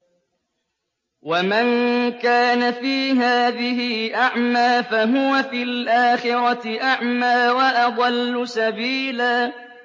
وَمَن كَانَ فِي هَٰذِهِ أَعْمَىٰ فَهُوَ فِي الْآخِرَةِ أَعْمَىٰ وَأَضَلُّ سَبِيلًا